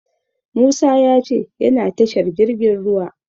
Musa ya ce yana tashar jirgin ruwa.